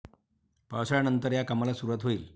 पावसाळ्यानंतर या कामाला सुरूवात होईल.